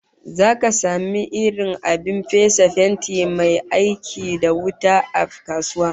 Zaka samu irin abin fesa fenti mai aiki da wuta a kasuwa